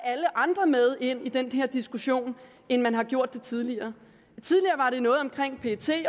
andre med ind i den her diskussion end man har gjort tidligere tidligere var det noget omkring pet